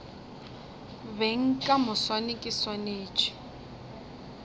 beng ka moswane ke swanetše